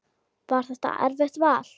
Var það erfitt vall?